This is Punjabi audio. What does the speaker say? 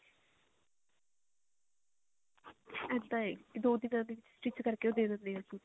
ਇੱਦਾਂ ਹੈ ਦੋ ਦਿਨਾ ਦੇ ਵਿੱਚ stitch ਕਰਕੇ ਉਹ ਦੇ ਦਿੰਦੇ ਆ